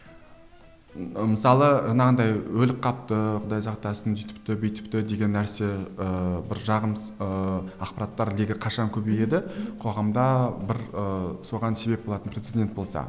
ы мысалы жанағындай өліп қалыпты құдай сақтасын сөйтіпті бүйтіпті деген нәрсе ыыы бір жағымсыз ыыы ақпараттар легі қашан көбейеді қоғамда бір ііі соған себеп болатын прецедент болса